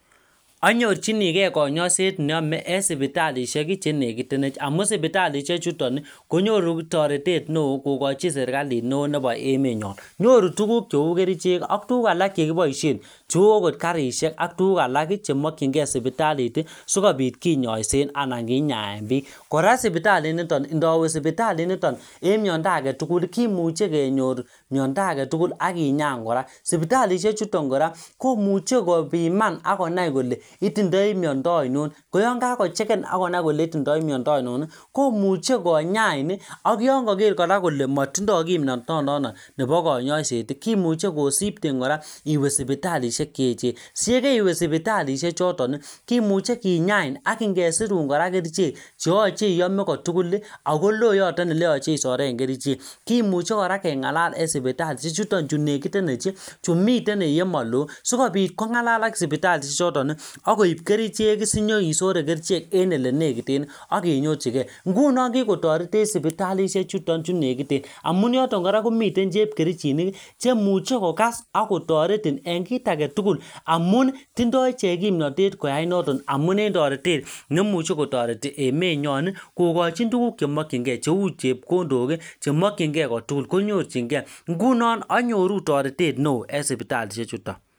Onyorchinigei konyoiset neyomei eng' sipitalishek chenekitenech amu sipitalishek chuton konyoru toretet neo kokochi serikalit neo nebo emenyon nyoru tukuk cheu kerichek ak tukuk alak chekiboishen cheu akot karishek ak tukuk alak chemokchingei sipitalit sikobit kinyoishen anan kinyaen biik kora sipitaliniton ndawe sipitaliniton eng' miondo agetugul kimuchei kenyor miyondo age tugul akinyan kora sipitalishen chuton kora komuchen kopiman akonai kole itindoi miondo aino koyon kakocheken akonabkole itindoi miondo ainon komuchei konyain ak yon kaker kora kole matindoi kimnotonon nebo kanyaiset kimuchei kosipten kora iwe sipitalishek cheechen siyekeiwe sipitalishek choton kimuchei kinyain ak kesirun kora kerichek cheyochei iyome kotugul akolo yoton oleyochen isoren kerichek kimuchei kora keng'alal eng' sipitalishek chuton chun nekitenech chi miten yemaloo sikobit kong'alal ak sipitalishek choton akoib kerichek sinyeisore kerichek en elenekiten akinyorchigei nguno kikotoretech sipitalishechuton chu nekiten amun yoton kora komiten chepkerichinik cheimuchei kokas akotoreti eng' kit agetugul amun tindoi ichek kimnatet koyai noton amun en toretet neimuchei kotoreti emenyon kokochin tukuk chemokchingei cheu chepkondok chemokchingei kotugul konyorchingei ngunon anyoru toretet neo eng' sipitalishechuto